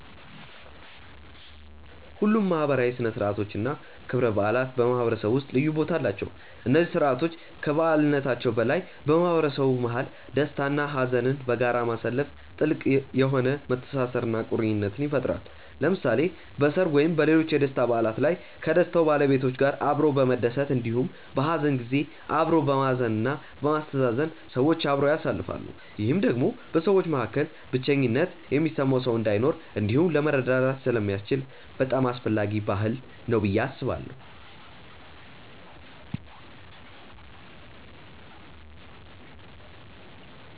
ሁሉም ማህበራዊ ሥነ ሥርዓቶች እና ክብረ በዓላት በማህበረሰቡ ውስጥ ልዩ ቦታ አላቸው። እነዚህ ስርዓቶች ከበዓልነታቸው በላይ በማህበረሰቡ መሀል ደስታ እና ሀዘንን በጋራ ማሳለፋ ጥልቅ የሆነ መተሳሰርን እና ቁርኝትን ይፈጥራል። ለምሳሌ በሰርግ ወይም ሌሎች የደስታ በዓላት ላይ ከደስታው ባለቤቶች ጋር አብሮ በመደሰት እንዲሁም በሀዘን ጊዜ አብሮ በማዘን እና በማስተዛዘን ሰዎች አብረው ያሳልፋሉ። ይህም ደግሞ በሰዎች መካከል ብቸኝነት የሚሰማው ሰው እንዳይኖር እንዲሁም ለመረዳዳት ስለሚያስችል በጣም አስፈላጊ ባህል ነው ብዬ አስባለሁ።